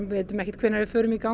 vitum ekkert hvenær við förum í gang